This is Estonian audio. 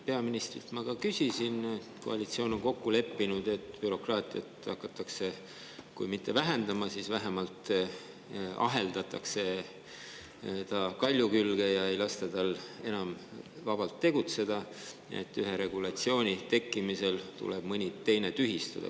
Peaministrilt ma küsisin ka selle kohta, et koalitsioon on kokku leppinud, et bürokraatiat hakatakse vähendama, või kui mitte vähendama, siis vähemalt aheldatakse ta kalju külge ja ei lasta tal enam vabalt tegutseda: ühe regulatsiooni tekkimisel tuleb mõni teine tühistada.